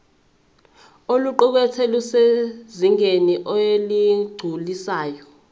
oluqukethwe lusezingeni eligculisayo